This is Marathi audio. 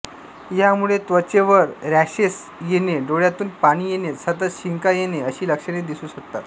यामुळे त्वचेवर रॅशेस येणे डोळ्यांतून पाणी येणे सतत शिंका येणे अशी लक्षणे दिसू शकतात